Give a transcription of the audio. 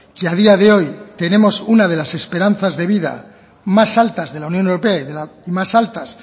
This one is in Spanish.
que a día de hoy tenemos una de las esperanzas de vida más altas de la unión europea y más altas